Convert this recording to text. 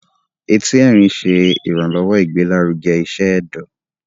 Ẹti Ẹrin ṣe iranlọwọ igbelaruge iṣẹ ẹdọ